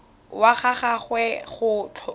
wa ga gagwe go tlhotswe